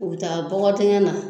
U bi taa bɔgɔ dɛngɛn na